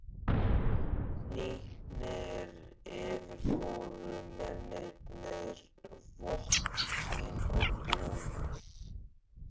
Hnípnir yfirfóru mennirnir vopn sín og búnað.